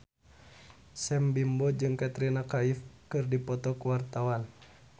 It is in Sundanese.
Sam Bimbo jeung Katrina Kaif keur dipoto ku wartawan